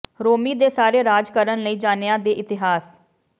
ਰੋਮੀ ਦੇ ਸਾਰੇ ਰਾਜ ਕਰਨ ਲਈ ਜਾਣਿਆ ਦੇ ਇਤਿਹਾਸ